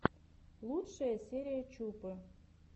лучшая серия чупы